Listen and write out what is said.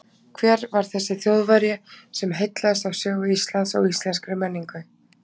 hver var þessi þjóðverji sem heillaðist af sögu íslands og íslenskri menningu